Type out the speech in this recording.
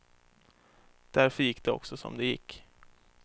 Därför gick det också som det gick.